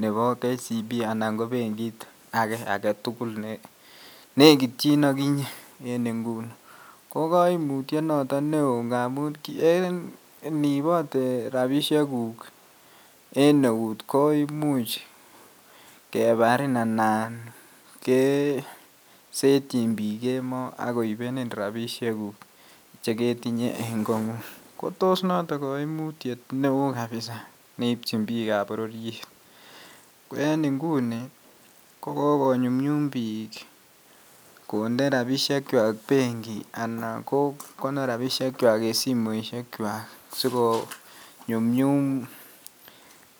nebo KCB anan ko benkit age agetugul nenekitchin okinyeen inguni, ko koimutyet noton neo ngamun iniibote rabisiekuk en eut koimuch kebarin anan kesetyin biik kemoi ak koibenin rabisiekuk cheketinye en kong'ung, ko tos noton koimutyet neo kabisa neibchin biik ab bororyet, ko en inguni kogogonyumnyum biik konde rabisiekwak benki anan kogonor rabisiekwak en simoisyekwak sikonyumnyum